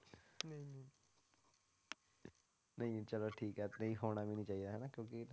ਨਹੀਂ ਚਲੋ ਠੀਕ ਹੈ ਤੇ ਨਹੀਂ ਹੋਣਾ ਵੀ ਨੀ ਚਾਹੀਦਾ ਹਨਾ ਕਿਉਂਕਿ